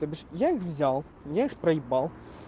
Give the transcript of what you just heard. то бишь я их взял я их проебал